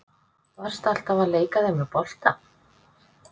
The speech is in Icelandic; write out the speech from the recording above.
Varstu alltaf að leika þér með bolta?